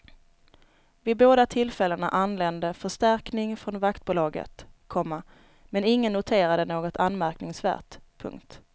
Vid båda tillfällena anlände förstärkning från vaktbolaget, komma men ingen noterade något anmärkningsvärt. punkt